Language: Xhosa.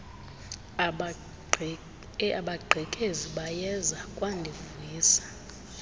abagqekezi bayeza kwandivuyisa